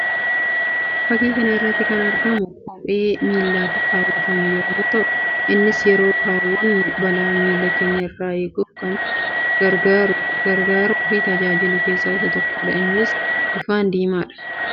Fakkii kana irratti kan argamu kophee miillatti kaawwatamu yammuu ta'u; innis yeroo kaawwannu balaa miilla keenya irraa eeguuf kan nama gargaaruu fi tajaajilu keessaa isa tokkoo dha. Innis bifaan diimaa dha.